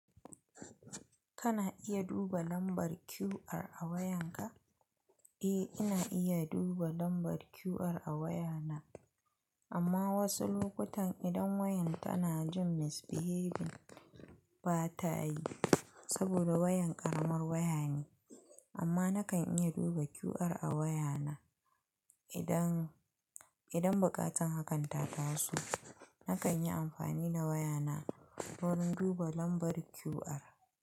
Kana iya duba lambar QR a wayanka? Eh, ina iya duba lambar QR a wayana. Amma wasu lokutan idan wayan tana jin misbehevi ba ta yi saboda wayan ƙaramar waya ne. Amma nakan iya duba QR a wayana idan, idan buƙatar hakanta ta so. Nakan yi amfani da wayana wurin duba lambar QR.